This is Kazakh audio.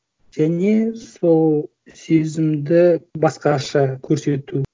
және сол сезімді басқаша көрсету